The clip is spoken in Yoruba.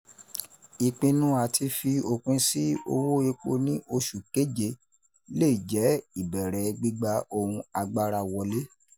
Ìpinnu àti fi opin sí owó epo ní oṣù kéje le jẹ ìbẹ̀rẹ̀ gbígba ohun agbára wọlé.